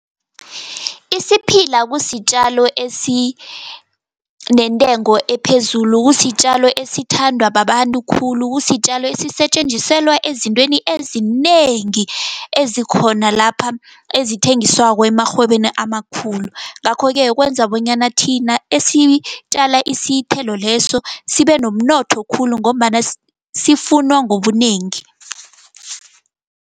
Isiphila kusitjalo esinentengo ephezulu, kusitjalo esithandwa babantu khulu. Kusitjalo esisetjenziselwa ezintweni ezinengi, ezikhona lapha, ezithengiswako emarhwebeni amakhulu. Ngakho-ke, kwenza bonyana thina esitjala isithelo leso, sibenomnotho khulu, ngombana sifunwa ngobunengi.